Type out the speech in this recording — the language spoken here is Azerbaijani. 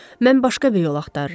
Mən başqa bir yol axtarıram.